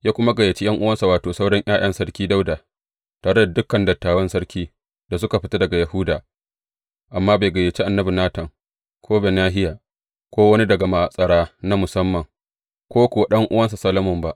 Ya kuma gayyaci ’yan’uwansa, wato, sauran ’ya’yan Sarki Dawuda, tare da dukan dattawan sarki da suka fito daga Yahuda, amma bai gayyaci annabi Natan, ko Benahiya, ko wani daga matsara na musamman, ko kuwa ɗan’uwansa Solomon ba.